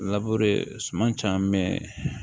suman caaman